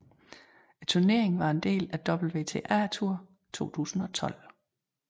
Turneringen var en del af WTA Tour 2012